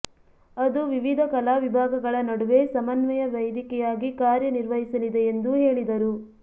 ಅದು ವಿವಿಧ ಕಲಾ ವಿಭಾಗಗಳ ನಡುವೆ ಸಮನ್ವಯ ವೇದಿಕೆಯಾಗಿ ಕಾರ್ಯ ನಿರ್ವಹಿಸಲಿದೆ ಎಂದು ಹೇಳಿದರು